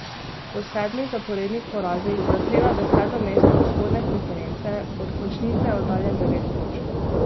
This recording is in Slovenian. Po sedmih zaporednih porazih zaseda deseto mesto vzhodne konference, od končnice je oddaljen devet točk.